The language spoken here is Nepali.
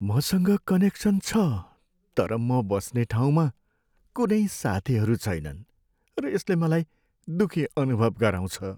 मसँग कनेक्सन छ तर म बस्ने ठाउँमा कुनै साथीहरू छैनन् र यसले मलाई दुःखी अनुभव गराउँछ।